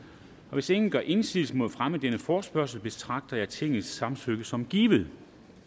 hvis ingen gør indsigelse mod fremme af denne forespørgsel betragter jeg tingets samtykke som givet